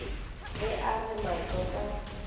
ge a re mahlo ka